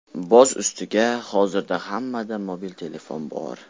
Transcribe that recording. Boz ustiga, hozirda hammada mobil telefon bor.